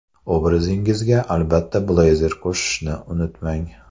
Obrazingizga, albatta, bleyzer qo‘shishni unutmang.